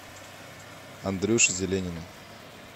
андрюши зеленина